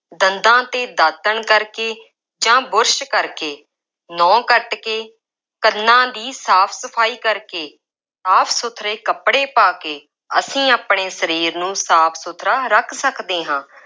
ਦੰਦਾਂ 'ਤੇ ਦਾਤਣ ਕਰਕੇ ਜਾਂ ਬੁਰਸ਼ ਕਰਕੇ, ਨਹੁੰ ਕੱੱਟ ਕੇ, ਕੰਨਾਂ ਦੀ ਸਾਫ ਸਫਾਈ ਕਰਕੇ ਸਾਫ ਸੁਥਰੇ ਕੱਪੜੇ ਪਾ ਕੇ, ਅਸੀਂ ਆਪਣੇ ਸਰੀਰ ਨੂੰ ਸਾਫ ਸੁਥਰਾ ਰੱਖ ਸਕਦੇ ਹਾਂ।